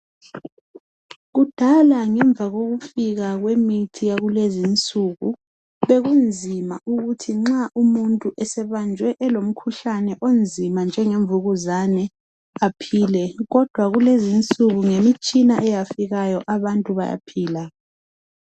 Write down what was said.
Kudala emva kwekufika kwemithi yakulezinsulu bekunzima ukuthi nxa umuntu esebanjwe elemkhuhlane onzima njengevukuzane aphile. Kodwa ngemitshina eyafikayo abantu bayaphila.